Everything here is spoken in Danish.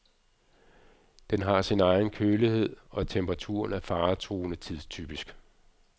Den har sin egen kølighed, og temperaturen er faretruende tidstypisk.